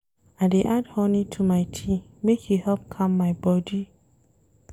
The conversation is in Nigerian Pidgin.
I dey add honey to my tea make e help calm my bodi.